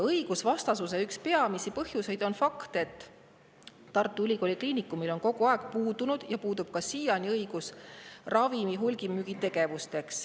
Õigusvastasuse üks peamisi põhjuseid on fakt, et Tartu Ülikooli Kliinikumil on kogu aeg puudunud ja puudub siiani ravimite hulgimüügi õigus.